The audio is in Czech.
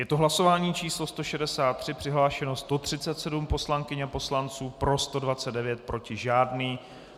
Je to hlasování číslo 163, přihlášeno 137 poslankyň a poslanců, pro 129, proti žádný.